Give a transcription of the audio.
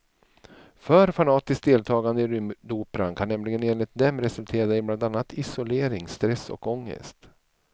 För fanatiskt deltagande i rymdoperan kan nämligen enligt dem resultera i bland annat isolering, stress och ångest.